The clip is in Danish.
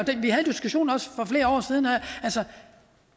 og flere år siden at